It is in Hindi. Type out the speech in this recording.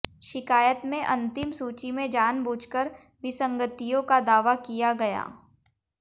शिकायत में अंतिम सूची में जानबूझकर विसंगतियों का दावा किया गया